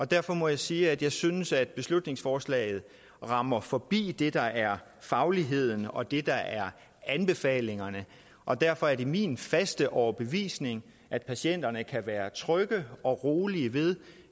derfor må jeg sige at jeg synes at beslutningsforslaget rammer forbi det der er fagligheden og det der er anbefalingerne og derfor er det min faste overbevisning at patienterne kan være trygge og rolige ved